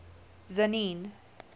tzaneen